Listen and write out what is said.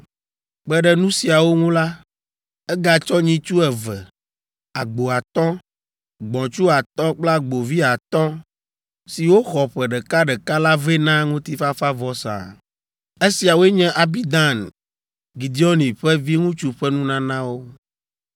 Kpe ɖe nu siawo ŋu la, egatsɔ nyitsu eve, agbo atɔ̃, gbɔ̃tsu atɔ̃ kple agbovi atɔ̃, siwo xɔ ƒe ɖeka ɖeka la vɛ na ŋutifafavɔsa. Esiawoe nye Abidan, Gideoni ƒe viŋutsu ƒe nunanawo.